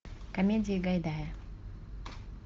комедии гайдая